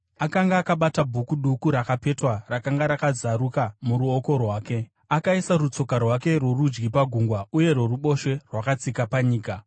Akanga akabata bhuku duku rakapetwa, rakanga rakazaruka muruoko rwake. Akaisa rutsoka rwake rworudyi pagungwa uye rworuboshwe rwakatsika panyika,